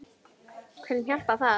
Hverjum hjálpar það?